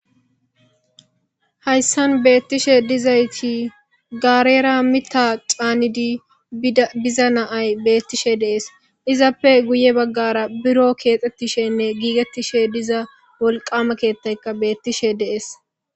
Haysan betishe dizayti garera mita c'anidi bida biza na'ay betishe de'es izappe guye bagara biro kexetishenne gigetishe diza wolqama kethayka betishe de'es.